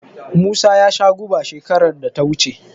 Musa ya sha guba shekarar da ta wuce.